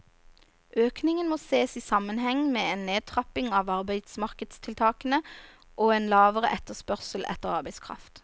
Økningen må ses i sammenheng med en nedtrapping av arbeidsmarkedstiltakene og en lavere etterspørsel etter arbeidskraft.